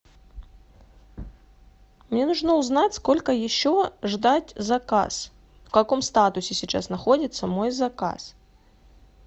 мне нужно узнать сколько еще ждать заказ в каком статусе сейчас находится мой заказ